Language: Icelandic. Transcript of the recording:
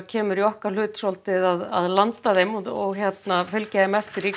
kemur í okkar hlut að landa þeim og fylgja þeim eftir nýtt